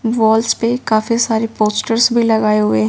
walls पे काफी सारे पोस्टर्स भी लगाए हुए--